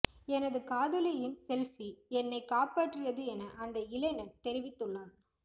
எனது காதலியின் செல்பி என்னை காப்பாற்றியது என அந்த இளைஞன் தெரிவித்துள்ளான்